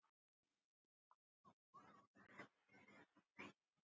Íbúum hefur fjölgað mikið.